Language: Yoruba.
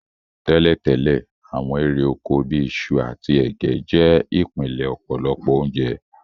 Tẹ́lẹ̀tẹ́lẹ̀, àwon érè oko bi isu àtí ẹ̀gẹ́ je ìpìnlẹ̀ ọ̀pọ̀lọpọ̀ ounje